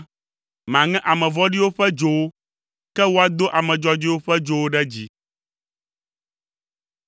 maŋe ame vɔ̃ɖiwo ƒe dzowo, ke woado ame dzɔdzɔewo ƒe dzowo ɖe dzi.